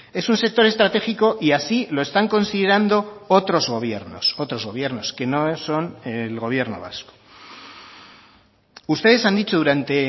es un sector estratégico y así lo están considerando otros gobiernos otros gobiernos que no son el gobierno vasco ustedes han dicho durante